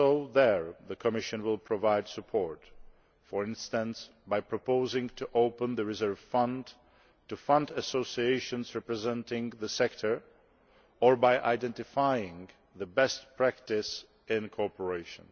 There too, the Commission will provide support, for instance by proposing to open the reserve fund to fund associations representing the sector or by identifying the best practice in cooperation.